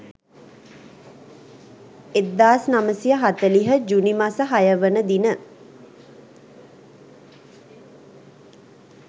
1940 ජුනි මස 06 වන දින